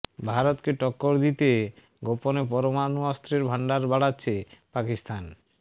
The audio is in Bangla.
ভারতকে টক্কর দিতে গোপনে পরমাণু অস্ত্রের ভান্ডার বাড়াচ্ছে পাকিস্তান